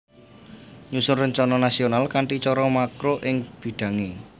Nyusun rencana nasional kanthi cara makro ing bidhangé